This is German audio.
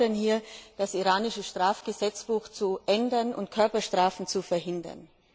Wir fordern hier, das iranische Strafgesetzbuch zu ändern und Körperstrafen zu verhindern.